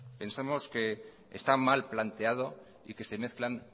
pensamos que está mal planteado y que se mezclan